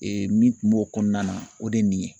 min kun b'o kɔnɔna na o de ye nin ye